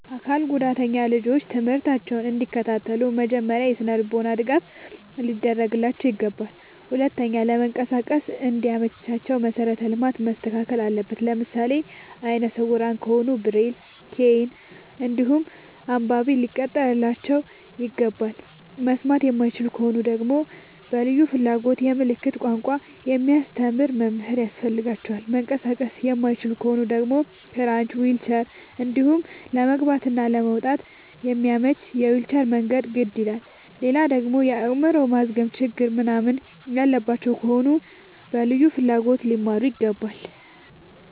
አካል ጉዳተኛ ልጆች ትምህርታቸውን እንዲ ከታተሉ መጀመሪያ የስነልቦና ድገፍ ሊደረግላቸው ይገባል። ሁለተኛ ለመንቀሳቀስ እንዲ መቻቸው መሰረተ ልማት መስተካከል አለበት። ለምሳሌ አይነስውራ ከሆኑ ብሬል ከይን እንዲሁም አንባቢ ሊቀጠርላቸው ይገባል። መስማት የማይችሉ ከሆኑ ደግመሞ በልዩ ፍላጎት የምልክት ቋንቋ የሚያስተምር መምህር ያስፈልጋቸዋል። መንቀሳቀስ የማይችሉ ከሆኑ ደግሞ ክራች ዊልቸር እንዲሁም ለመግባት እና ለመውጣት የሚያመች የዊልቸር መንገድ ግድ ይላላል። ሌላደግሞ የአይምሮ ማዝገም ችግር ምንናምን ያለባቸው ከሆኑ በልዩ ፍላጎት ሊማሩ ይገባል።